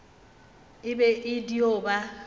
e be e dio ba